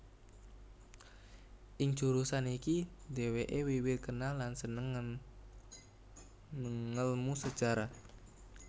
Ing jurusan iki dhèwèké wiwit kenal lan sênêng ngélmu Sejarah